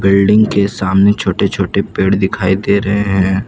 Building के सामने छोटे छोटे पेड़ दिखाई दे रहे हैं।